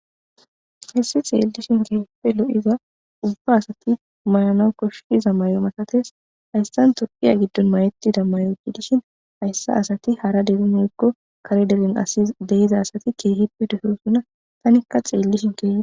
Hayssi xeellishin ubba asay mayanaw lo7iza masatees,tophphiya giddon mayettiza mayo gidishin hayssa asati hara deren mayikko kare dere asata keehippe lo7ees.